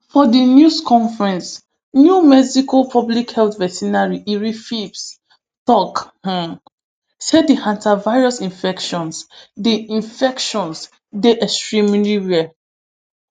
for di news conference new mexico public health veterinarian erin phipps tok um say di hantavirus infections dey infections dey extremely rare